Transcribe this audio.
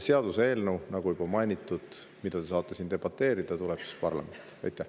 Seaduseelnõu, nagu juba mainitud, mille üle te saate siin debateerida, tuleb parlamenti.